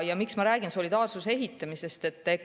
Ja miks ma räägin solidaarsuse ehitamisest?